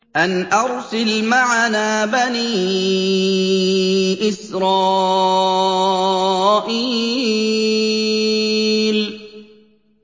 أَنْ أَرْسِلْ مَعَنَا بَنِي إِسْرَائِيلَ